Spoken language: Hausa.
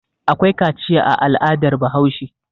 Akwai kaciya a al'adar Bahaushe.